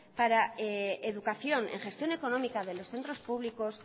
para educación en gestión económica de los centros públicos